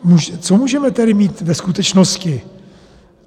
Co můžeme tedy mít ve skutečnosti?